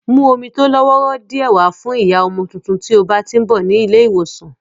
Mú omi tó lọ́wọ́rọ́ díẹ̀ wá fún ìyá ọmọ tuntun tí o bá tí ń bọ̀ ní ilé ìwòsàn